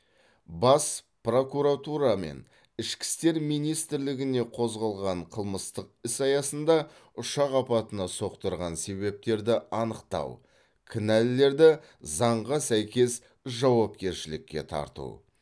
бас прокуратура мен ішкі істер министрлігіне қозғалған қылмыстық іс аясында ұшақ апатына соқтырған себептерді анықтау кінәлілерді заңға сәйкес жауапкершілікке тарту